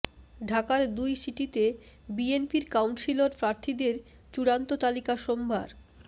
ঢাকার দুই সিটিতে বিএনপির কাউন্সিলর প্রার্থীদের চূড়ান্ত তালিকা সোমবার